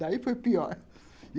Daí foi pior